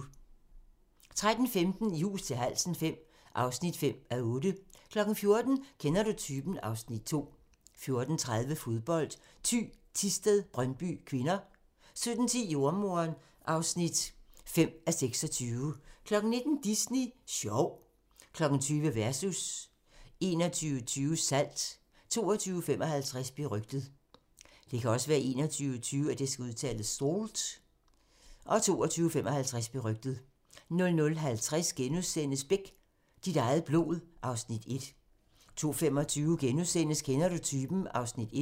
13:15: I hus til halsen V (5:8) 14:00: Kender du typen? (Afs. 2) 14:30: Fodbold: Thy Thisted-Brøndby (k) 17:10: Jordemoderen (5:26) 19:00: Disney Sjov 20:00: Versus 21:20: Salt 22:55: Berygtet 00:50: Beck - dit eget blod (Afs. 1)* 02:25: Kender du typen? (Afs. 1)*